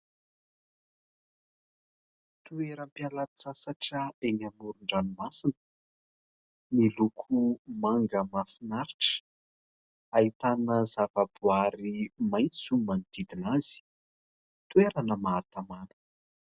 Toeram-pialatsasatra eny amoron- dranomasina. Miloko manga mahafinaritra, ahitana zavaboary maitso manodidina azy, toerana maha tamàna.